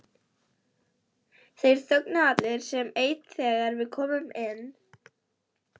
Krúttið eigraði út til að hitta þá og virtist leiðast.